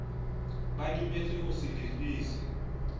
ba dumetse ho se lefise